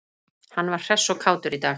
Hann var hress og kátur í dag.